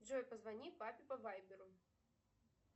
джой позвони папе по вайберу